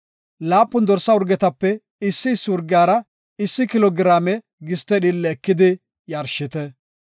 laapun dorsa urgetape issi issi urgiyara issi kilo giraame giste dhiille ekidi yarshite.